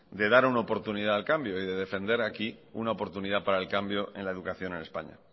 de dar una oportunidad al cambio y de defender aquí una oportunidad para el cambio en la educación en españa